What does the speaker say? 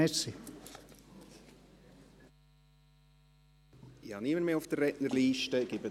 Es ist niemand mehr in der Rednerliste eingetragen.